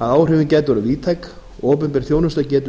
að áhrifin gætu orðið víðtæk og opinber þjónusta getur